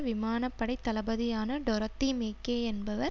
விமான படை தளபதியான டொரொத்தி மேக்கே என்பவர்